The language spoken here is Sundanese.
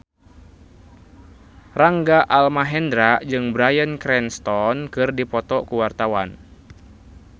Rangga Almahendra jeung Bryan Cranston keur dipoto ku wartawan